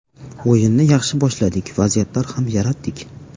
O‘yinni yaxshi boshladik, vaziyatlar ham yaratdik.